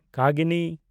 ᱠᱟᱜᱤᱱᱤ